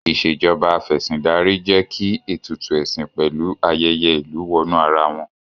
Ìṣèjoba Af'ẹ̀sìndarí jẹ́ kí Ètùtù ẹ̀sìn pẹ̀lú ayẹyẹ ìlú wọnú ara wọn